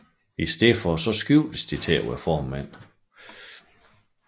I stedet skiftede de til at være formænd